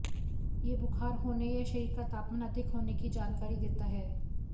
यह बुखार होने या शरीर का तापमान अधिक होने की जानकारी देता है